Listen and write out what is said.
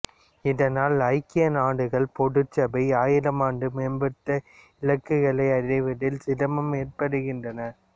இதனால் ஐக்கிய நாடுகள் பொதுச் சபை ஆயிரமாண்டு மேம்பட்டு இலக்குகளைஅடைவதில் சிரமங்கள் ஏற்படுகின்றன